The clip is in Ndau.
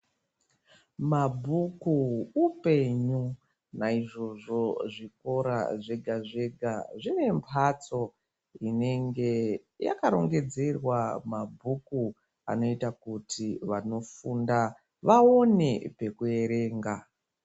Mabhuku upenyu. Naizvozvo zvikora zvega zvega zvine mbatso inenge yakarongedzerwa mabhuku anoita kuti vanofunda vaone pekuerenga.